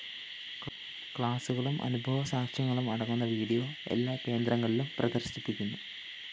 ക്ലാസുകളും അനുഭവ സാക്ഷ്യങ്ങളും അടങ്ങുന്ന വീഡിയോ എല്ലാ കേന്ദ്രങ്ങളിലും പ്രദര്‍ശിപ്പിക്കുന്നു